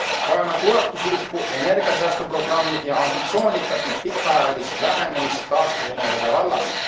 Vajame ulatuslikku energiasäästuprogrammi ja ambitsioonikat ning pikaajalist lähenemist taastuvenergia vallas.